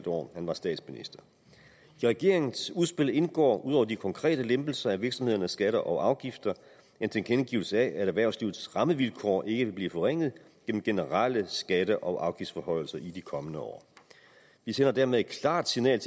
år han var statsminister i regeringens udspil indgår ud over de konkrete lempelser af virksomhedernes skatter og afgifter en tilkendegivelse af at erhvervslivets rammevilkår ikke vil blive forringet gennem generelle skatte og afgiftsforhøjelser i de kommende år vi sender dermed et klart signal